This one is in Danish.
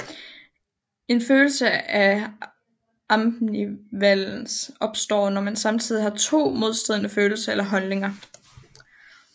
En følelse af ambivalens opstår når man samtidig har to modstridende følelser eller holdninger